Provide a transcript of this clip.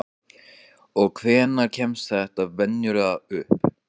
Og hvenær kemst þetta venjulega upp?